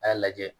A y'a lajɛ